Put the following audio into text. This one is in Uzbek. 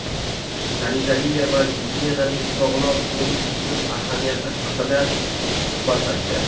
sanitariya va gigiyenaning sog‘lom turmush uchun ahamiyati haqida suhbatlashdi.